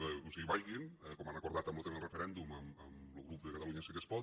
o sigui vagin com han acordat en lo tema del referèndum amb lo grup de catalunya sí que es pot